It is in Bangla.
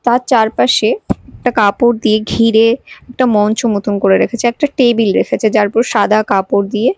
তার চারপাশে একটা কাপড় দিয়ে ঘিরে একটা মঞ্চ মতন করে রেখেছে একটা টেবিল রেখেছে যার উপর সাদা কাপড় দিয়ে--